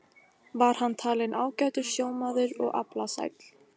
Var hann talinn ágætur sjómaður og aflasæll.